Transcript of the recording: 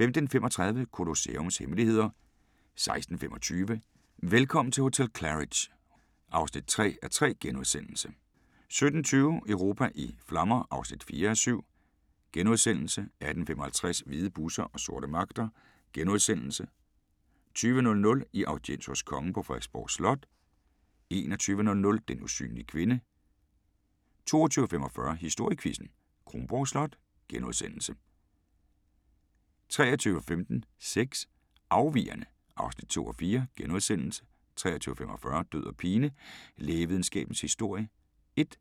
15:35: Colosseums hemmeligheder 16:25: Velkommen til hotel Claridge's (3:3)* 17:20: Europa i flammer (4:7)* 18:55: Hvide busser og sorte magter * 20:00: I audiens hos kongen på Frederiksborg Slot 21:00: Den usynlige kvinde 22:45: Historiequizzen: Kronborg Slot * 23:15: Sex: Afvigerne (2:4)* 23:45: Død og pine: Lægevidenskabens Historie 1